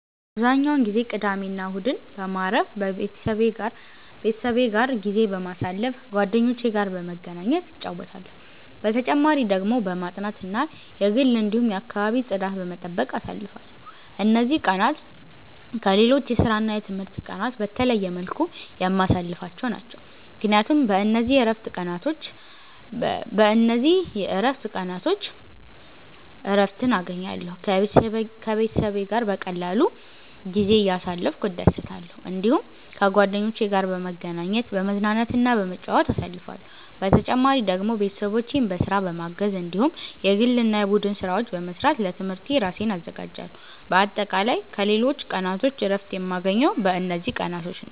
አብዛኛውን ጊዜ ቅዳሜና እሁድን በማረፍ፣ ቤተሰቤ ጋር ጊዜ በማሳለፋ ጓደኞቼ ጋር በመገናኘት እጫወታለሁ። በተጨማሪ ደግሞ በማጥናት እና የግል እንዲሁም የአከባቢ ጽዳት በመጠበቅ አሳልፍለሁ። እነዚህ ቀናት ከሌሎች የስራና የትምህርት ቀናት በተለየ መልኩ የማሳልፍቸው ናቸው፣ ምክንያቱም በእነዚህ የእረፍት ቀናቾች እረትን እገኛለሁ። ከቤተሰቤ ጋር በቀላሉ ጊዜ እያሳለፍኩ እደሰታለሁ። እዲሁም ከጓደኞቼ ጋር በመገናኘት፤ በመዝናናትና በመጫወት አሳልፍለሁ። በተጨማሪ ደግሞ ቤተሰቦቼን በስራ በማገዝ እንዲሁም የግል እና የቡድን ስራዎች በመስራት ለትምህርቴ እራሴን አዘጋጃለሁ። በአጠቃላይ ከሌሎች ቀናቶች እረፍት የማገኘው በእነዚህ ቀናቶች ነዉ።